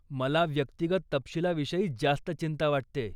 मला व्यक्तिगत तपशिलाविषयी जास्त चिंता वाटतेय.